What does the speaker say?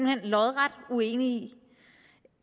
hen lodret uenig